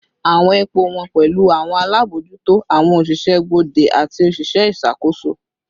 Awọn ipo wọn pẹlu awọn alabojuto, awọn oṣiṣẹ gbode, ati oṣiṣẹ iṣakoso